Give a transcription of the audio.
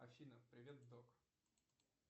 афина привет док